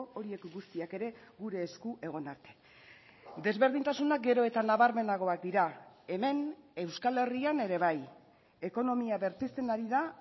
horiek guztiak ere gure esku egon arte desberdintasuna gero eta nabarmenagoak dira hemen euskal herrian ere bai ekonomia berpizten ari da